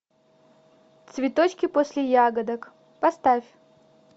цветочки после ягодок поставь